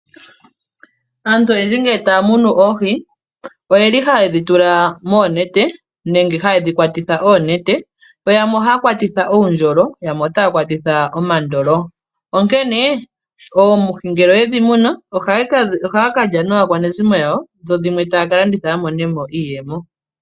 Aantu oyendji ngele taya munu oohi oyeli haye dhi tula moonete nenge haye dhi kwatitha oonete. Yo yamwe ohaya kwatitha oondjolo, yamwe otaya kwatitha omandolo. Onkene oohi ngele oye dhi munu ohaya kalya naakwanezimo yawo dho dhimwe taya ka landitha ya monemo iiyemo.